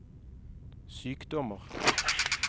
sykdommer